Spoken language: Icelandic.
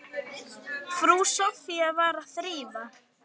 Frú Soffía var að þrífa.